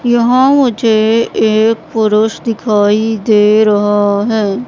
यहां मुझे एक पुरुष दिखाई दे रहा है।